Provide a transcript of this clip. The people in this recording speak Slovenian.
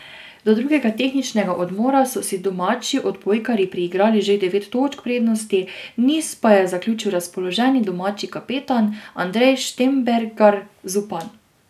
Do drugega tehničnega odmora so si domači odbojkarji priigrali že devet točk prednosti, niz pa je zaključil razpoloženi domači kapetan Andrej Štembergar Zupan.